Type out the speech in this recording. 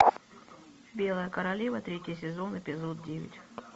белая королева третий сезон эпизод девять